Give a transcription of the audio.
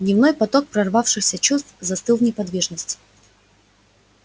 гневный поток прорвавшихся чувств застыл в неподвижности